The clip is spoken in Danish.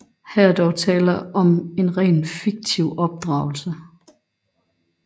Her er der dog tale om en rent fiktiv opdragelse